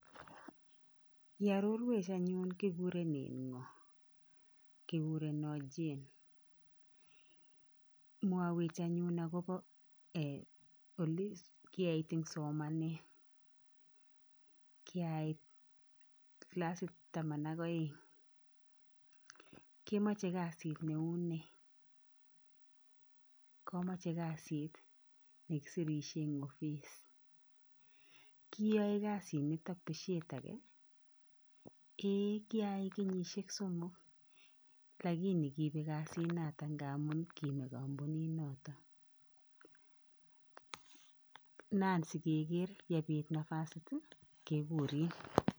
Iororuech anyun kikurenen ng'o ? Kikurenon Jane. Mwowech anyun agobo ee olekieit en somanet? Kiait kilasit taman ak oeng'. Kemoche kazit neu nee? Komoche kazit nekisirisie en opis. Kiiyoe kazinton besiiet age ? Ei kirayai kenyisiek somok lakini kibek kazinoton ngamun kime kompuninoton. Nan sikeker yebit napasit kekurin.